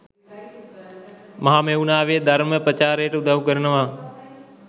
මහමෙව්නාවෙ ධර්ම ප්‍රචාරයට උදව් කරනව.